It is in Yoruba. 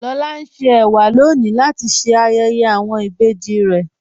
Lọlá ń ṣè èwà lọ́ní latí ṣé ayéyé awọn ìbéjì rè.